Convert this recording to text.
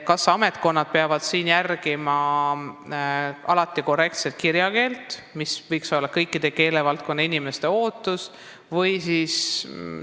Kas ametkonnad peavad sotsiaalmeedias alati kasutama korrektset kirjakeelt, mis võiks olla kõikide keelevaldkonna inimeste ootus?